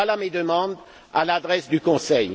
Voilà mes demandes à l'adresse du Conseil.